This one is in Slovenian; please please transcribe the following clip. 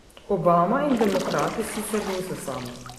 Obama in demokrati sicer niso sami.